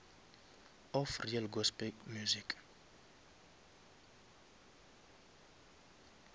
of real gospel music